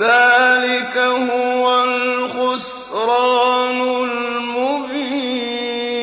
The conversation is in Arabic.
ذَٰلِكَ هُوَ الْخُسْرَانُ الْمُبِينُ